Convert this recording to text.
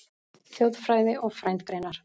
Þjóðfræði og frændgreinar